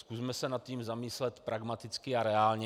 Zkusme se nad tím zamyslet pragmaticky a reálně.